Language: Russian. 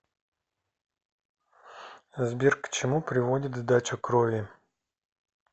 сбер к чему приводит сдача крови